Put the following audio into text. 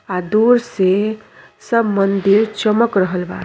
आ दूर से सब मंदिर चमक रहला बा।